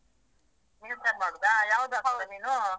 ಮೀನ್ ಸಾರ್ ಮಾಡುದಾ ಹಾಕೋದು ನೀನು.